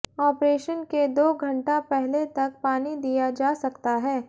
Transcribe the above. operation के दो घंटा पहले तक पानी दिया जा सकता है